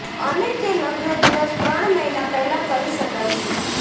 અને તે લગ્ન દિવસ ત્રણ મહિના પહેલાં કરી શકાય છે